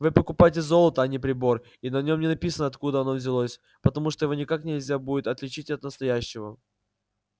вы покупаете золото а не прибор и на нем не написано откуда оно взялось потому что его никак нельзя будет отличить от настоящего